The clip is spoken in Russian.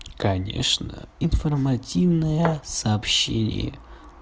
конечно информативное сообщение